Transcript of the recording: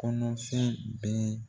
Kɔnɔfɛn bɛɛ